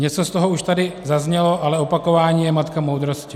Něco z toho už tady zaznělo, ale opakování je matka moudrosti.